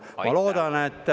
Aitäh!